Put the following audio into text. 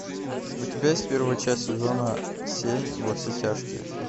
у тебя есть первая часть сезона семь во все тяжкие